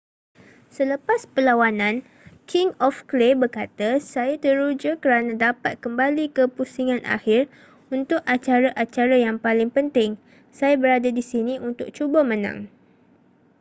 selepas perlawanan king of clay berkata saya teruja kerana dapat kembali ke pusingan akhir untuk acara-acara yang paling penting saya berada di sini untuk cuba menang